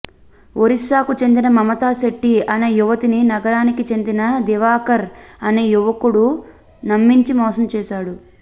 ఒరిస్సాకు చెందిన మమతా శెట్టి అనే యువతిని నగరానికి చెందిన దివాకర్ అనే యువకుడు నమ్మించి మోసం చేశాడు